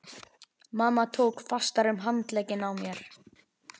Mamma tók fastar um handlegginn á mér.